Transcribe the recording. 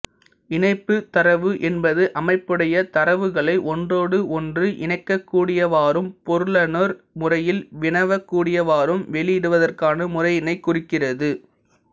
இணைப்புத் தரவு என்பது அமைப்புடைய தரவுகளை ஒன்றோடு ஒன்று இணைக்ககூடியவாறும் பொருளுணர் முறையில் வினவக்கூடியவாறும் வெளியிடுவதற்கான முறையினைக் குறிக்கிறது